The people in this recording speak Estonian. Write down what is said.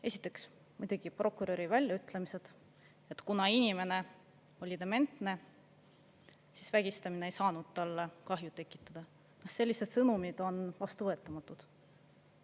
Esiteks, muidugi prokuröri väljaütlemised, et kuna inimene oli dementne, siis vägistamine ei saanud talle kahju tekitada, sellised sõnumid on vastuvõetamatud.